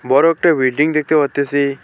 বড় একটা বিল্ডিং দেখতে পারতাসি।